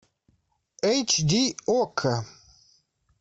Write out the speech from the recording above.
эйч ди окко